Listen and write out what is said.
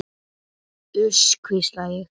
Uss, hvísla ég.